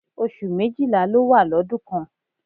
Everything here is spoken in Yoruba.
Oṣù méjìlá ló wà lọ́dún kan